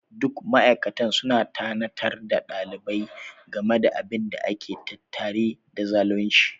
Duk ma'aikatan sun tunatar da ɗalibin game da abin da ke tattare da zalunci.